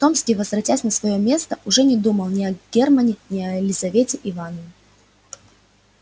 томский возвратясь на своё место уже не думал ни о германне ни о лизавете ивановне